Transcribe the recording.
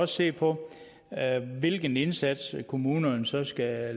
se på hvilken indsats kommunerne så skal